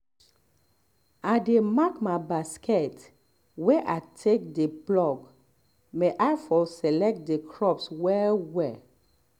i dey mark my basket wey i take dey pluck may i for select the crops well well